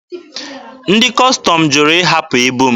Ndị Kọstọm jụrụ ịhapụ ibu m.